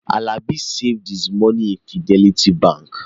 Alani saved his money in Fidelity Bank